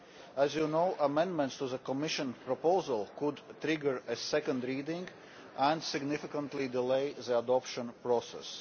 As you know, amendments to the Commission proposal could trigger a second reading and significantly delay the adoption process.